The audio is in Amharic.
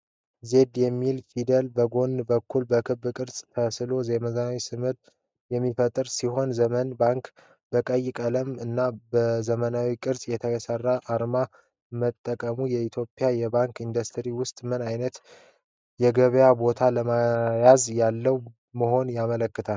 'Z' የሚለው ፊደል በጎን በኩል በክብ ቅርጽ ተስሎ የዘመናዊነትን ስሜት የሚፈጥር ሲሆን።'ዘመን ባንክ' በቀይ ቀለም እና ዘመናዊ ቅርፅ የተሰራ አርማ መጠቀሙ በኢትዮጵያ የባንክ ኢንዱስትሪ ውስጥ ምን ዓይነት የገበያ ቦታ ለመያዝ ያለመ መሆኑን ያመለክታል?